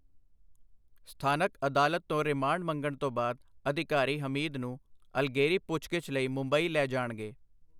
ਸਥਾਨਕ ਅਦਾਲਤ ਤੋਂ ਰਿਮਾਂਡ ਮੰਗਣ ਤੋਂ ਬਾਅਦ, ਅਧਿਕਾਰੀ ਹਮੀਦ ਨੂੰ ਅਗਲੇਰੀ ਪੁੱਛਗਿੱਛ ਲਈ ਮੁੰਬਈ ਲੈ ਜਾਣਗੇ।